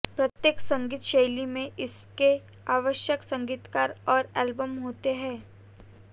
प्रत्येक संगीत शैली में इसके आवश्यक संगीतकार और एल्बम होते हैं